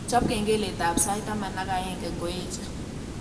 Chop kengeletab sait taman ak aeng ngoeche